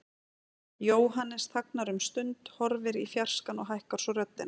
Jóhannes þagnar um stund, horfir í fjarskann og hækkar svo röddina.